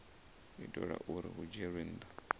itela uri hu dzhielwe nha